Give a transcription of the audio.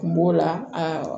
Kun b'o la a